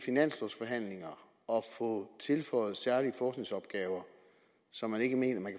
få tilføjet særlige forskningsopgaver som man ikke mener man